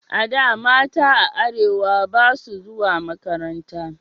A da, mata a arewa ba su zuwa makaranta